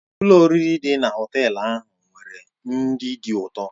Ụlọ oriri dị na họtel ahụ nwere nri dị ụtọ.